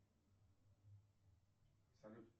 салют